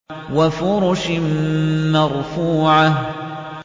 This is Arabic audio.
وَفُرُشٍ مَّرْفُوعَةٍ